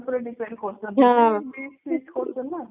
depend କରୁଛନ୍ତି veet fit କରୁଛନ୍ତି ନା